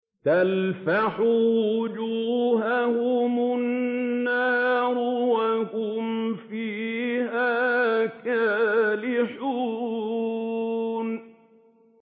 تَلْفَحُ وُجُوهَهُمُ النَّارُ وَهُمْ فِيهَا كَالِحُونَ